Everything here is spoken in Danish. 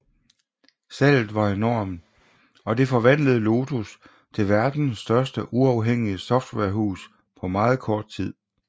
Salget var enormt og det forvandlede Lotus til verdens største uafhængige softwarehus på meget kort tid